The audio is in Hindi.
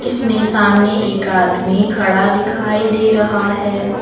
इसमें सामने एक आदमी खड़ा दिखाई दे रहा है।